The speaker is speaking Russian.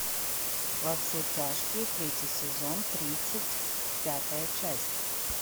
во все тяжкие третий сезон тридцать пятая часть